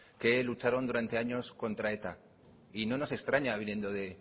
que lucharon durante años contra eta y no nos extraña viniendo de